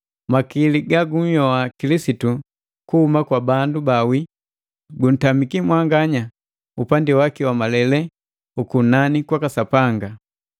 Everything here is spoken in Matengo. makili ga gunhyoa Kilisitu kuhuma kwa bandu baawii, guntamiki upandi waki wa malele ukunani kwaka Sapanga.